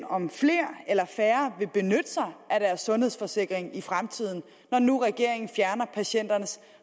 om flere eller færre vil benytte sig af deres sundhedsforsikring i fremtiden når nu regeringen fjerner patienternes